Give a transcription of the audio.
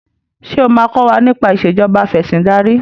ṣe o ma kò wá nipa Ìṣèjọba Afẹ̀sìndarí